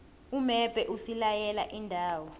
umbebhe usilaye iindawo